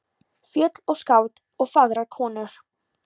Fjöll og skáld og fagrar konur.